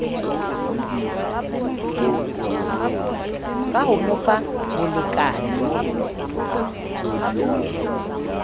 ka ho mo fa bolekana